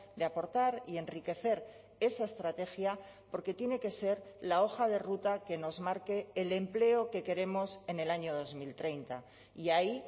de aportar y enriquecer esa estrategia porque tiene que ser la hoja de ruta que nos marque el empleo que queremos en el año dos mil treinta y ahí